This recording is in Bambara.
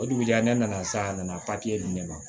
O dugujɛ ne nana sa a nana papiye di ne ma